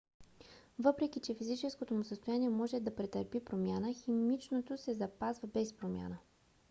въпреки че физическото му състояние може да претърпи промяна химичното се запазва без промяна